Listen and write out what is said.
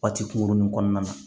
Waati kunkurunnin kɔnɔna na